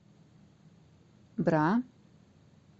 бра